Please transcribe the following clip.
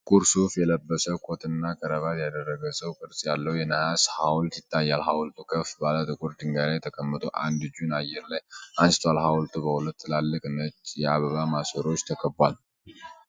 ጥቁር ሱፍ የለበሰ፣ ኮትና ክራቫት ያደረገ ሰው ቅርጽ ያለው የነሐስ ሐውልት ይታያል። ሐውልቱ ከፍ ባለ ጥቁር ድንጋይ ላይ ተቀምጦ አንድ እጁን አየር ላይ አንስቷል። ሐውልቱ በሁለት ትላልቅ ነጭ የአበባ ማሰሮዎች ተከቧል።